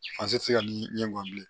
Fase tɛ se ka ni ye n gɔni bilen